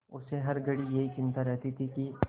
उसे हर घड़ी यही चिंता रहती थी कि